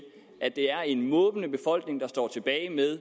at det er en måbende befolkning der står tilbage med